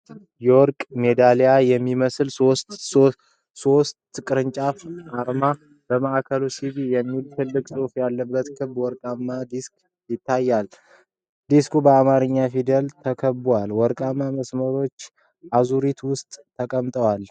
የወርቅ ሜዳሊያ የሚመስል ባለ ሶስት አቅጣጫዊ አርማ። በማዕከሉ ላይ "BE" የሚል ትልቅ ጽሑፍ ያለበት ክብ ወርቃማ ዲስክ ይታያል። ዲስኩ በአማርኛ ፊደላት ተከብቦ በወርቃማ መስመሮች አዙሪት ውስጥ ተቀምጧል።